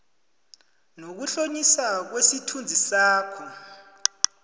nokuhlonitjhwa kwesithunzi sakho